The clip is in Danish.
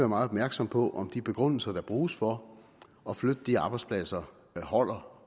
meget opmærksom på om de begrundelser der bruges for at flytte de arbejdspladser holder